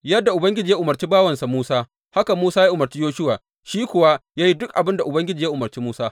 Yadda Ubangiji ya umarci bawansa Musa, haka Musa ya umarci Yoshuwa, shi kuwa ya yi duk abin da Ubangiji ya umarci Musa.